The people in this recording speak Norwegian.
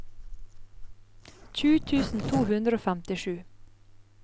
tjue tusen to hundre og femtisju